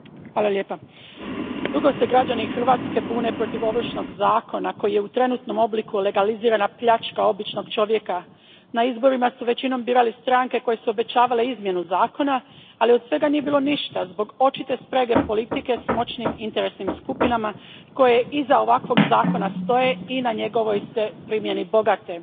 Poštovana predsjednice, dugo se građani Hrvatske bune protiv Ovršnog zakona koji je, u trenutnom obliku, legalizirana pljačka običnog čovjeka. Na izborima su većinom birali stranke koje su obećavale izmjenu zakona, ali od svega nije bilo ništa zbog očite sprege politike s moćnim interesnim skupinama koje iza ovakvog zakona stoje i na njegovoj se primjeni bogate.